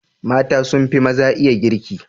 Mata sun fi maza iya girki.